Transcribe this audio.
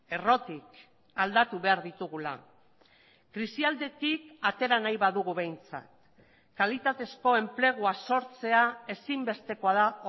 errotik aldatu behar ditugula krisialdetik atera nahi badugu behintzat kalitatezko enplegua sortzea ezinbestekoa da